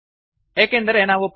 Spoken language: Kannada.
ನಮ್ಮ ಪ್ರೊಗ್ರಾಮ್ ಗೆ ಹಿಂತಿರುಗಿ